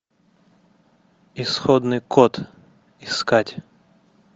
исходный код искать